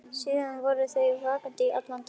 Síðan voru þau vöktuð allan daginn.